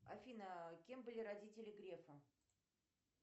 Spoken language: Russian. афина кем были родители грефа